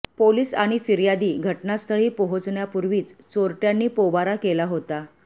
police आणि फिर्यादी घटनास्थळी पोहोचण्यापूर्वीच चोरट्यांनी पोबारा केला होता